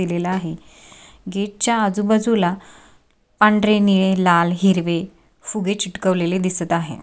केलेला आहे गेट च्या आजूबाजूला पांढरे निळे लाल हिरवे फुगे चिटकवलेले दिसत आहे.